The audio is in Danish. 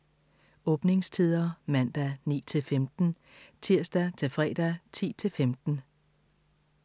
Åbningstider: Mandag: 9-15 Tirsdag - fredag: 10-15